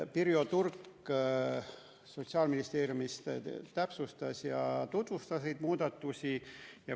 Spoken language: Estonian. Pirjo Turk Sotsiaalministeeriumist täpsustas ja tutvustas neid muudatusi.